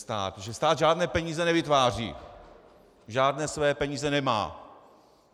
Stát žádné peníze nevytváří, žádné své peníze nemá.